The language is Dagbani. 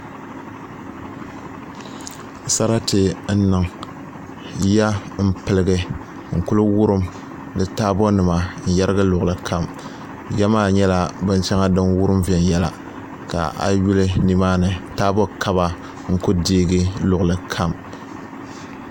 Sarati n niŋ yiya n piligi n kuli wurim ka taabo nim yɛrigi luɣuli kam yiya maa nyɛla bin shɛŋa din wurim viɛnyɛla ka a yi yuli nimaani taabo kaba n ku deegi luɣuli kam